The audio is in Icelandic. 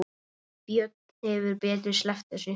Björn hefði betur sleppt þessu.